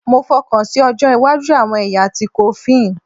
Mo fokansi ojo iwaju awọn ẹya ti coffin